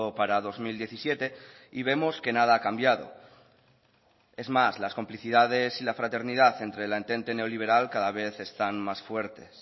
para dos mil diecisiete y vemos que nada ha cambiado es más las complicidades y la fraternidad entre la entente neoliberal cada vez están más fuertes